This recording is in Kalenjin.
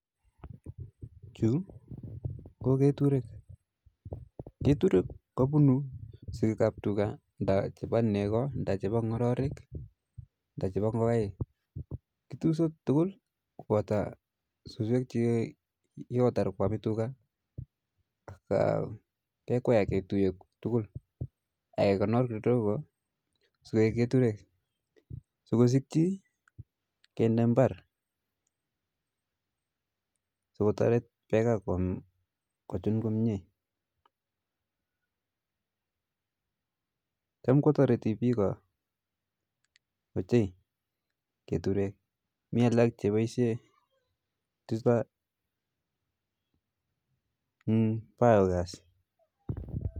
Chu ko keturek ,keturek kopune sikik ap tuka nda chepa neko nda chepa ngororik nda chepo ngokaik, kitusot tukul kopoto suswek chi kikotar kwame tuka ,kekwa ak ketuye tukul ak kekonor kidogo sokoek keture sokosikji kende mbar sokotaret peka kochun komye, cham kotoriti piko ochei keturek, mi alak chepaishe chuta eng biogas